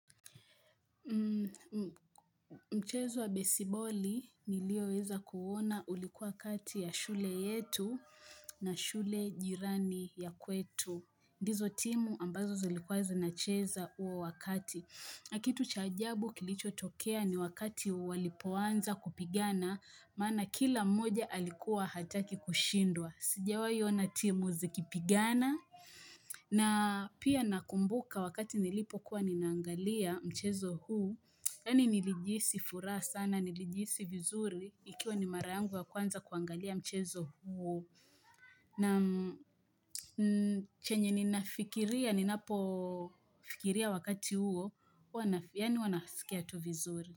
Mchezo wa besiboli nilio weza kuona ulikuwa kati ya shule yetu na shule jirani ya kwetu. Ndizo timu ambazo zilikuwa zinacheza huo wakati. Nakitu cha ajabu kilichotokea ni wakati walipoanza kupigana, maana kila mmoja alikuwa hataki kushindwa. Sijawahi ona timu zikipigana. Na pia nakumbuka wakati nilipo kuwa nina angalia mchezo huu. Yaani nilijihisi furaha sana nilijihisi vizuri ikiwa ni mara yangu ya kwanza kuangalia mchezo huo na chenye ninafikiria ninapo fikiria wakati huo yaani huwa nasikia tu vizuri.